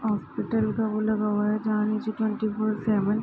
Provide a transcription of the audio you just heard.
hospital का board लगा हुआ है जहाँ नीचे ट्वेंटी फोर सेवन --